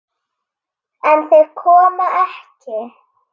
En þeir koma ekki.